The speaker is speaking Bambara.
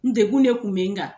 N degun ne kun bɛ n kan.